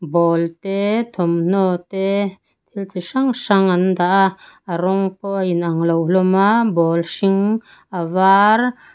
ball te thawmhnaw te thil chi hrang hrang an daha a rawng pawh a inang lo hlawma ball hring a var.